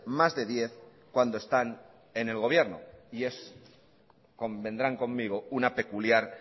más de diez cuando están en el gobierno y es convendrán conmigo una peculiar